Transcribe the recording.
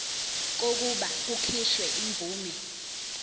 kokuba kukhishwe imvume